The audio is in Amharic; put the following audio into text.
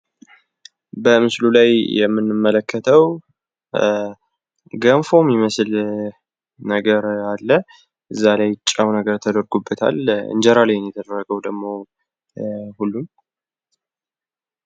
በምስሉ ላይ የምንመለከተው ገንፎ የሚመስል ነገር አለ ከላይ ጨው ተደርጎበታል። እንጀራ ላይ ነው የተቀመጠው ።